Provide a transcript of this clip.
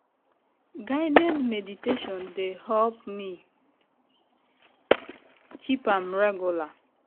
guided meditation dey help me keep am regular.